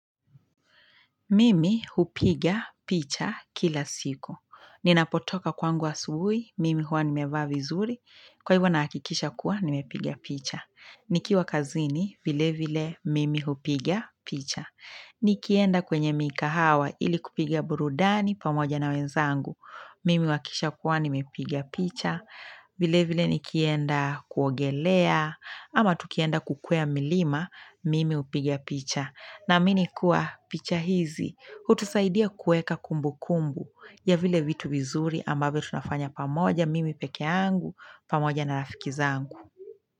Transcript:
Mimi hupiga picha kila siku. Ninapotoka kwangu asubuhi, mimi huwa nimevaa vizuri. Kwa hivyo nahakikisha kuwa nimepiga picha. Nikiwa kazini, vile vile, mimi hupiga picha. Nikienda kwenye mikahawa ili kupiga burudani pamoja na wenzangu. Mimi wakisha kuwa, nimepiga picha. Vile vile nikienda kuogelea ama tukienda kukwea milima, mimi hupiga picha. Naamini kuwa picha hizi hutusaidia kuweka kumbu kumbu ya vile vitu vizuri ambavyo tunafanya pamoja mimi peke yangu pamoja na rafiki zangu.